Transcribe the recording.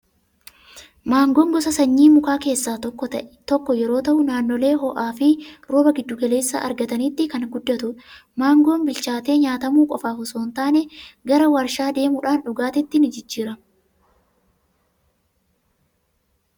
Maangoon gosa sanyii mukaa keessaa tokko yeroo ta'u, naannolee ho'aa fi rooba giddu galeessaa argataniitti kan guddatudha. Maangoon bilchaate nyaatamuu qofaaf osoo hin taane, gara waarshaa deemuudhaan dhugaatiitti ni jijjiirama.